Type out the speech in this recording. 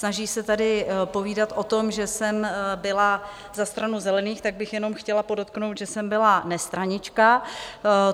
Snaží se tady povídat o tom, že jsem byla za stranu Zelených, tak bych jenom chtěla podotknout, že jsem byla nestranička.